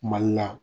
Mali la